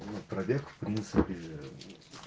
ну пробег в принципе